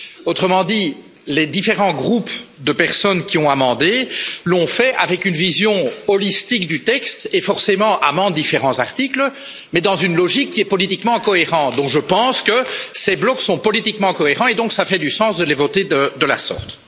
Autrement dit, les différents groupes de personnes qui ont amendé l'ont fait avec une vision holistique du texte et, forcément, amendent différents articles, mais dans une logique qui est politiquement cohérente. Pour cette raison, je pense que ces blocs sont politiquement cohérents et que cela a du sens de les voter de de la sorte.